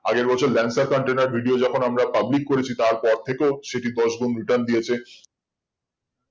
আগের বছর lancer container video যখন আমরা public করেছি তার পরথেকেও সেটি দশ গুন্ return দিয়েছে